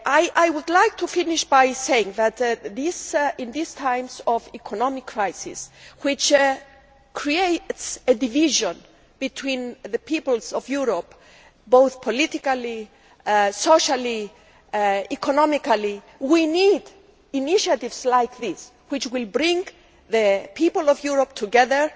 I would like to finish by saying that in these times of economic crisis which create divisions between the peoples of Europe politically, socially and economically, we need initiatives like this which will bring the people of Europe together.